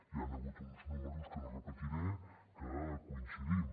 hi han hagut uns números que no repetiré en què coincidim